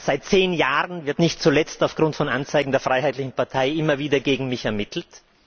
Seit zehn Jahren wird nicht zuletzt aufgrund von Anzeigen der Freiheitlichen Partei immer wieder gegen mich ermittelt.